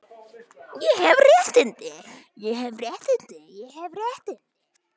Við væntum tryggðar, trúnaðar og fullnægjandi kynlífs.